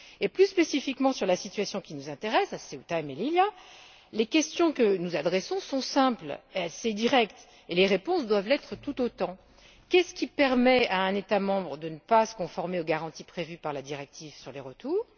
Plus spécifiquement, en ce qui concerne la situation qui nous intéresse à Ceuta et Melilla, les questions que nous adressons sont simples et assez directes, et les réponses doivent l'être tout autant. Qu'est ce qui permet à un État membre de ne pas se conformer aux garanties prévues par la directive sur les retours?